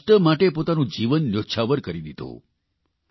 જેમણે રાષ્ટ્ર માટે પોતાનું જીવન ન્યૌછાવર કરી દીધું